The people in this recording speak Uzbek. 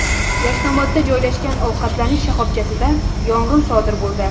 Yashnobodda joylashgan ovqatlanish shoxobchasida yong‘in sodir bo‘ldi.